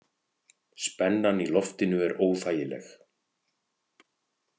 Spennan í loftinu er óþægileg.